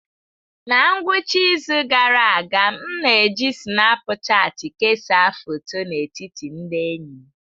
Na ngwụcha izu gara aga, m na-eji Sinapụchati kesaa foto n'etiti ndị enyi m.